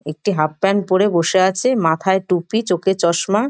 একটি half pant পড়ে বসে আছে মাথায় টুপি চোখে চশমা ।